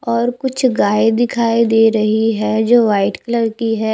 और कुछ गाय दिखाई दे रही है जो वाइट कलर की है।